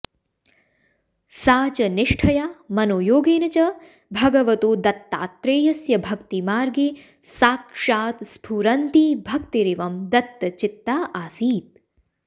सा च निष्ठया मनोयोगेन च भगवतो दत्तात्रेयस्य भक्तिमार्गे साक्षात् स्फुरन्ती भक्तिरिवं दत्तचित्ता आसीत्